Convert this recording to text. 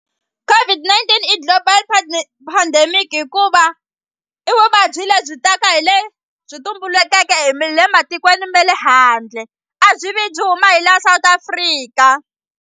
COVID-19 i global pandemic hikuva i vuvabyi lebyi taka hi le byi tumbulukeke matikweni ma le handle a byi vi byi huma hi la South Africa.